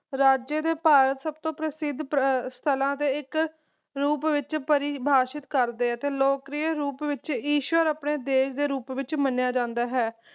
ਰਾਜੇ ਦੇ ਭਾਰਤ ਸਭ ਤੋਂ ਪ੍ਰਸਿੱਧ ਸਥਲਾਂ ਦੇ ਇੱਕ ਰੂਪ ਵਿਚ ਪਰਿਭਾਸ਼ਿਤ ਕਰਦੇ ਅਤੇ ਲੋਕਪ੍ਰਿਯ ਰੂਪ ਵਿਚ ਈਸ਼ਵਰ ਆਪਣੇ ਦੇਸ਼ ਦੇ ਰੂਪ ਵਿਚ ਮੰਨੀਏ ਜਾਂਦਾ ਹੈ